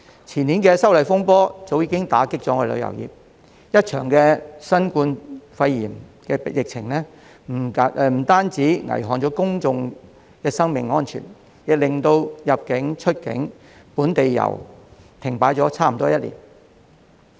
前年的修例風波早已打擊旅遊業，一場新冠肺炎疫情不單危害公眾生命安全，更令入境、出境及本地遊停擺差不多1年。